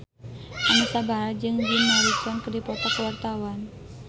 Anisa Bahar jeung Jim Morrison keur dipoto ku wartawan